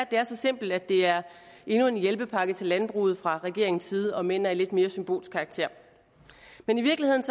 det er så simpelt at det er endnu en hjælpepakke til landbruget fra regeringens side om end af lidt mere symbolsk karakter men i virkeligheden